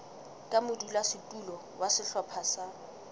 ka modulasetulo wa sehlopha sa